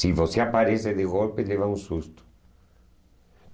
Se você aparece de golpe, leva um susto.